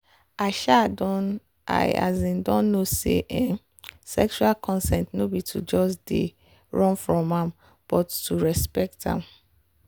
i um don i um don know say um sexual consent no be to just they run from am but to respect am.